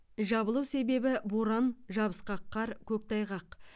жабылу себебі боран жабысқақ қар көктайғақ